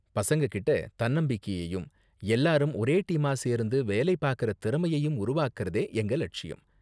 பசங்ககிட்ட தன்னம்பிக்கையையும் எல்லாரும் ஒரே டீமா சேர்ந்து வேலை பாக்கற திறமையையும் உருவாக்குறதே எங்க லட்சியம்.